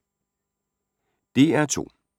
DR2